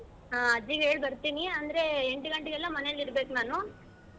ಹಾ ಅಜ್ಜಿಗೆ ಹೇಳಿ ಬರ್ತೀನಿ ಅಂದ್ರೆ ಎಂಟು ಗಂಟೆಗೆಲ್ಲ ಮನೆಲ್ ಇರ್ಬೇಕು ನಾನು.